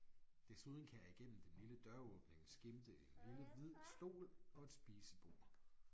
Desuden kan jeg igennem den lille døråbning skimte en lille hvid stol og et spisebord